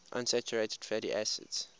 unsaturated fatty acids